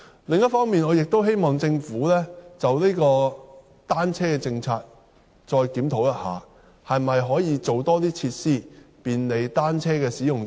另一方面，我亦希望政府就單車政策再作檢討，可否多提供一些設施便利單車使用者？